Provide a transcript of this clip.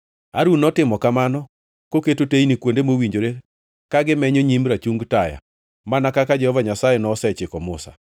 Harun notimo kamano; noketo teyni kuonde mowinjore ka gimenyo nyim rachung taya, mana kaka Jehova Nyasaye nosechiko Musa.